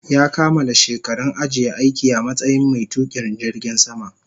Ya kamala shekarun ajiye aiki a matsayin mai tukin jirgin sama